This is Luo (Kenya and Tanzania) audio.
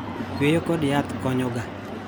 Yweyo kod yath konyo ga.